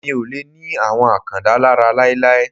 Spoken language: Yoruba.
Mi ò lè ni àwọn Àkàndá lára láíláí.